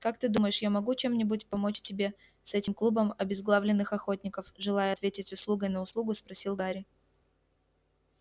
как ты думаешь я могу чем-нибудь помочь тебе с этим клубом обезглавленных охотников желая ответить услугой на услугу спросил гарри